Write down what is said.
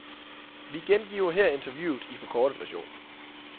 Vi gengiver her interviewet i forkortet version.